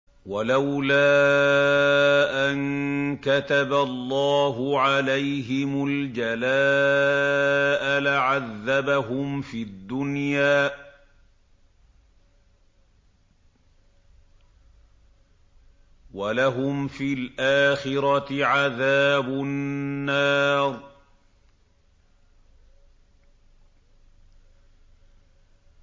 وَلَوْلَا أَن كَتَبَ اللَّهُ عَلَيْهِمُ الْجَلَاءَ لَعَذَّبَهُمْ فِي الدُّنْيَا ۖ وَلَهُمْ فِي الْآخِرَةِ عَذَابُ النَّارِ